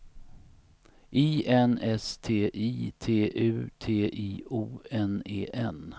I N S T I T U T I O N E N